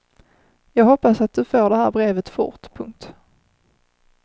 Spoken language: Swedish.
Jag hoppas att du får det här brevet fort. punkt